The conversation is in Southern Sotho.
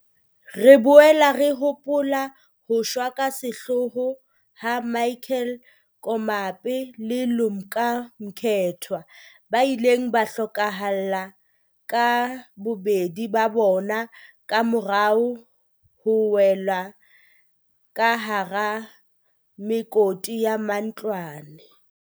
Re boela re hopola ho shwa ka sehloho ha Michael Komape le Lumka Mkethwa, ba ileng ba hlokahala ka bobedi ba bona kamora ho wela ka hara mekoti ya matlwana.